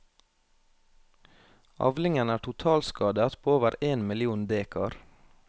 Avlingen er totalskadet på over én million dekar.